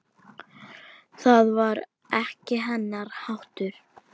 Það var ekki hennar háttur.